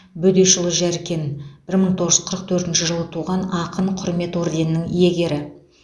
бөдешұлы жәркен бір мың тоғыз жүз қырық төртінші жылы туған ақын құрмет орденінің иегері